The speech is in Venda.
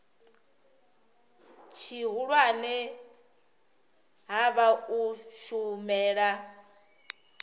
tshihulwane ha vha u shumela